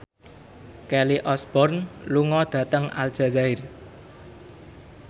Kelly Osbourne lunga dhateng Aljazair